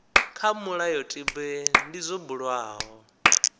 kha mulayotibe ndi zwo bulwaho